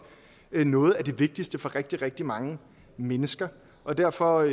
er noget af det vigtigste for rigtig rigtig mange mennesker og derfor